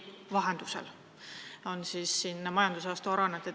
Ma pean silmas majandusaasta aruandeid.